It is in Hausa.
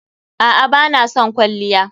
A'a bana son kwalliya.